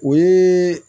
O ye